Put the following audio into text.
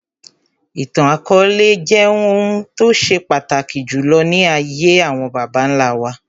Ìtàn akọọlẹ jẹ́ ohun tó ṣe pàtàkì jùlọ ní ayé àwọn bàbá nlá wa